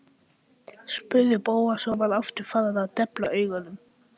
spurði Bóas og var aftur farinn að depla augunum.